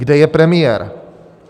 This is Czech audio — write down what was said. Kde je premiér?